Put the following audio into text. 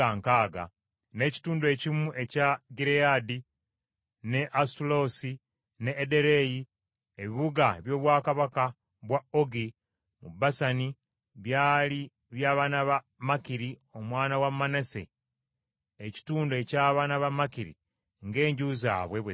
n’ekitundu ekimu ekya Gireyaadi ne Asutaloosi, ne Ederei, ebibuga eby’obwakabaka bwa Ogi mu Basani byali b’abaana ba Makiri omwana wa Manase, ekitundu eky’abaana ba Makiri ng’enju zaabwe bwe zaali.